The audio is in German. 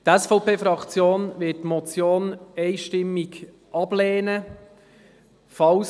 Die SVP-Fraktion wird die Motion einstimmig ablehnen.